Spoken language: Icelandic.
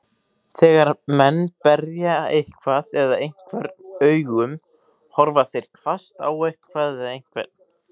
Þegar menn berja eitthvað eða einhvern augum, horfa þeir hvasst á eitthvað eða einhvern.